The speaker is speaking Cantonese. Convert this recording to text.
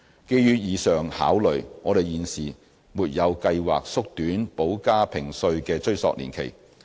基於以上考慮，我們現時沒有計劃縮短補加評稅的追溯年期。